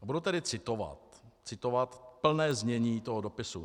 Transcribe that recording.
Bubu tedy citovat, citovat plné znění toho dopisu.